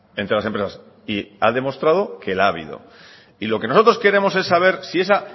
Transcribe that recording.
entre las empresas y ha demostrado que la ha habido y lo que nosotros queremos es saber si esa